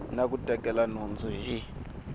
na ku tekela nhundzu hi